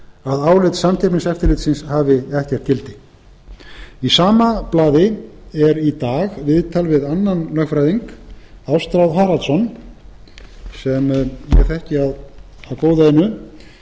að álit samkeppniseftirlitsins hafi ekkert gildi í sama blaði er í dag viðtal við annan lögfræðing ástráð haraldsson sem ég þekki af góðu einu um